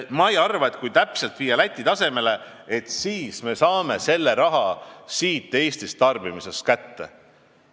Ma ei arva, et kui aktsiis viia täpselt Läti tasemele, et siis me saame selle raha Eestist, kohalikust tarbimisest kätte.